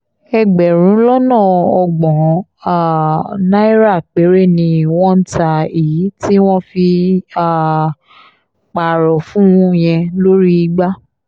ẹgbẹ̀rún lọ́nà ọgbọ́n um náírà péré ni wọ́n ń ta èyí tí wọ́n fi um pààrọ̀ fún un yẹn lórí igbá